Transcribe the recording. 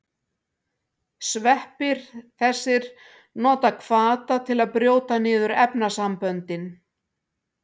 Sveppir þessir nota hvata til að brjóta niður efnasamböndin.